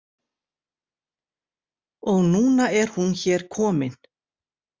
Og núna er hún hér komin.